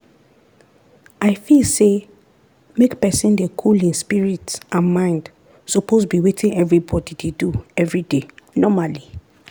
i feel say make pesin dey cool hin spirit and mind suppose be wetin everybody dey do everyday normally.